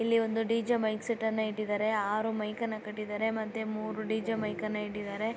DJ. Mic set ಅನ್ನು ಇಟ್ಟಿದ್ದಾರೆ. ಆರ್ ಮೈಕ್ ಅನ್ನು ಕಟ್ಟಿದ್ದಾರೆ ಮತ್ತೆ ಮೂರು ಡಿ.ಜೆ. ಮೈಕನ್ನು ಇಟ್ಟಿದ್ದಾರೆ.